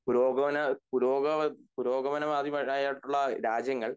പുരോഗമന പുരോഗവാ പുരോഗമനവാദിമാരായട്ടുള്ള രാജ്യങ്ങൾ